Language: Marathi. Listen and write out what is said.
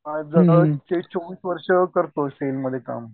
चोवीस वर्ष करतोय सेल मध्ये काम